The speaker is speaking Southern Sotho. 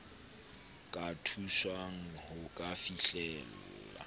ka thuswang ho ka fihlella